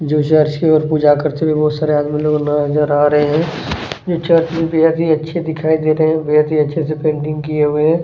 जो चर्च की ओर पूजा करते हुए बहुत सारे आदमी लोग नज़र आ रहे है चर्च बेहद ही अच्छे दिखाई दे रहे है बेहद ही अच्छे से पेंटिंग किए हुए है।